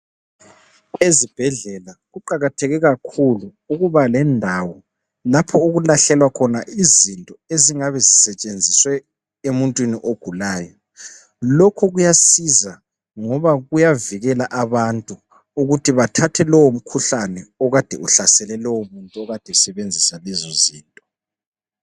Ezibhedlela kuqakatheke kakhulu ukuba lendawo lapho okulahlelwa khona izinto ezingabe zisetshenziswe emuntwini ogulayo, lokho kuyasiza ngoba kuyavikela abantu ukuthi bathathe lowo mkhuhlane okade uhlasele lowo muntu okade esebenzisa lezo zinto.